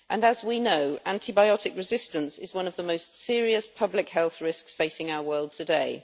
As we know, antibiotic resistance is one of the most serious public health risks facing our world today.